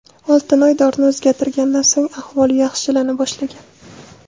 Oltinoy dorini o‘zgartirganidan so‘ng ahvoli yaxshilana boshlagan.